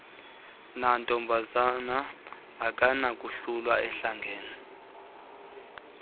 namntombazana akanakohlulwa ahlangene